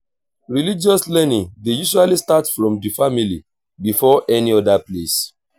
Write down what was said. religious learning dey usually start from di family before any oda place